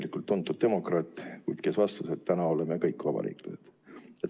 See oli tuntud demokraat, kes vastas, et täna oleme kõik vabariiklased.